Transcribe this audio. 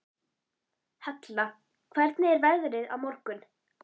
Hella, hvernig er veðrið á morgun?